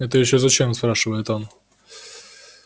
это ещё зачем спрашивает он